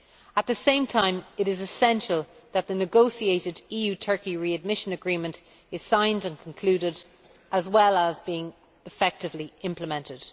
At the same time it is essential that the negotiated EU Turkey readmission agreement is signed and concluded, as well as being effectively implemented.